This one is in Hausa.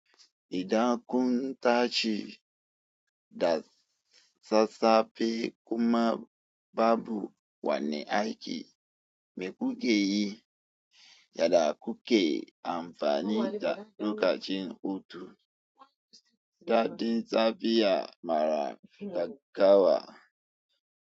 Idan kun tashi da sassafe kuma babu wani aiki, mai kukeyi yada kuke amfani da lokacin hutu. Daɗin tsafiya mara gaggawa.